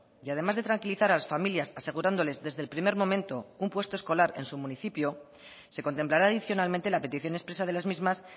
y además de tranquilizar a las familias asegurándoles desde el primer momento un puesto escolar en su municipio se contemplará adicionalmente la petición expresa de las mismas